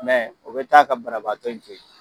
Mɛ o bɛ taa ka banabagatɔ in to yen.